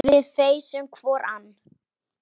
Við feisum hvor ann